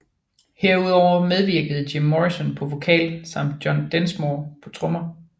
Herudover medvirkede Jim Morrison på vokal samt John Densmore på trommer